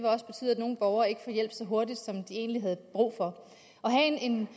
også betyde at nogle borgere ikke får hjælp så hurtigt som de egentlig havde brug for at have en